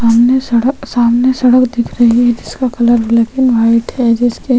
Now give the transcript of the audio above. सामने शहर-- सामने शहर दिख रहा है जिसका कलर ब्लैकेन वाइट है जिसके --